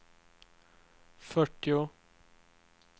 fyrtio